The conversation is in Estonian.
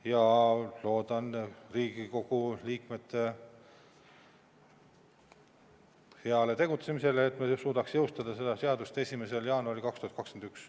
Ja loodan Riigikogu liikmete heale tegutsemisele, et me suudaks jõustada seaduse 1. jaanuaril 2021.